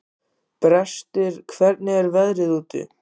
Brestir, hvernig er veðrið úti?